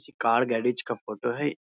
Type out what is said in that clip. ये car garage का photo है।